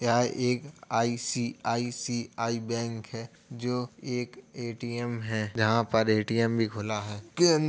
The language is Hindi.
यह एक आईसीआईसीआई बैंक है जो एक एटीएम है जहाँ पर एटीएम भी खुला है कई --